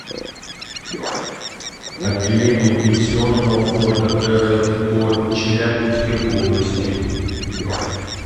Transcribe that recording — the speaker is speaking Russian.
отделение пенсионного фонда рф по челябинской области